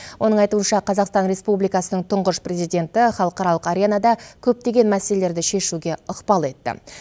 оның айтуынша қазақстан республикасының тұңғыш президенті халықаралық аренада көптеген мәселелерді шешуге ықпал етті